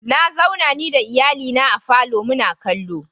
Na zauna ni da iyalina a falo muna kallo.